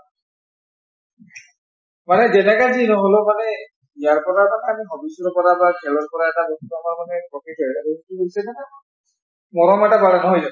মানে যেনেকা যি নহলেও মানে ইয়াৰ পৰা খেলৰ পৰা এটা মৰম এটা বাঢ়ে, নহয় জানো?